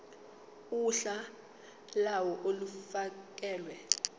uhla lawo olufakelwe